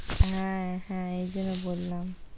হ্যাঁ হ্যাঁ এইজন্য বললাম, "